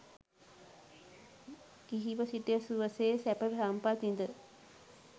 ගිහිව සිට සුවසේ සැප සම්පත් විඳ